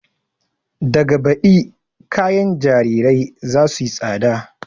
Daga baɗi kayan jarirai za suyi tsada